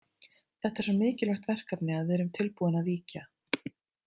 Þetta er svo mikilvægt verkefni að við erum tilbúin að víkja.